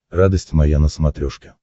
радость моя на смотрешке